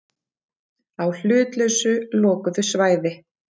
Á hlutlausu lokuðu svæði.